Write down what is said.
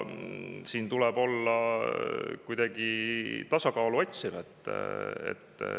Siin tuleb olla kuidagi tasakaalu otsiv.